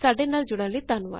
ਸਾਡੇ ਨਾਲ ਜੁਡ਼ਨ ਲਈ ਧੰਨਵਾਦ